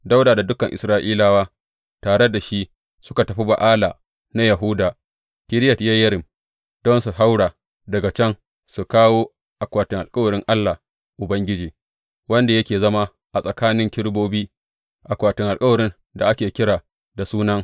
Dawuda da dukan Isra’ilawa tare da shi suka tafi Ba’ala na Yahuda Kiriyat Yeyarim don su haura daga can su kawo akwatin alkawarin Allah Ubangiji, wanda yake zama tsakanin kerubobi, akwatin alkawarin da ake kira da Sunan.